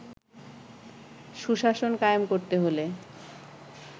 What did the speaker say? সুশাসন কায়েম করতে হলে